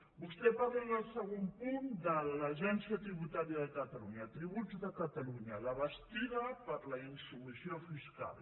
vostè parla en el segon punt de l’agència tributària de catalunya tributs de catalunya la bastida per a la insubmissió fiscal